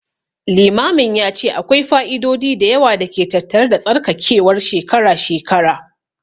Limamin ya ce akwai fa'idodi da yawa da ke tattare da tsarkakewar shekara-shekara.